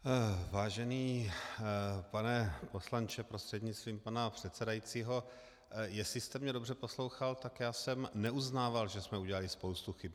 Vážený pane poslanče prostřednictvím pana předsedajícího, jestli jste mě dobře poslouchal, tak já jsem neuznával, že jsme udělali spoustu chyb.